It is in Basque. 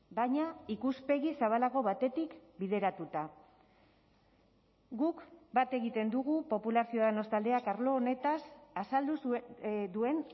baina ikuspegi zabalago batetik bideratuta guk bat egiten dugu popular ciudadanos taldeak arlo honetaz azaldu duen